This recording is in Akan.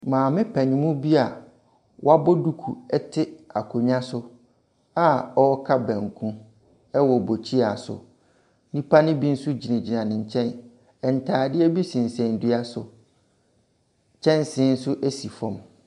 Maame panin mu bi a wabɔ duku tw akonnwa so a ɔreka banku wɔ bukyia so. Nnipa no bi nso gyingyina ne nkyɛn. Ntadeɛ bi sensɛn dua si. Kyɛnsee nso si fam.